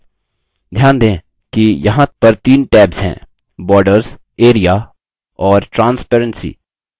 ध्यान दें कि यहाँ पर तीन tabs हैंborders area और transparency